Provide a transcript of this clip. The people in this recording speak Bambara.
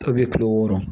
kile wɔɔrɔ